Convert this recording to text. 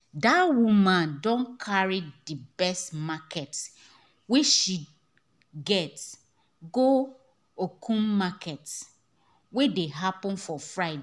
that woman don carry the best market wey she get go okumu market wey dey happen for friday